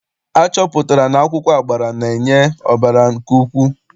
Achọpụtara na akwụkwọ agbara na-enye ọbara nke ukwuu.